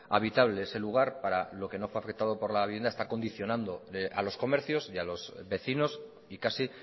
habitable ese lugar para lo que no fue afectado por la vivienda está condicionando a los comercios y a los vecinos y casi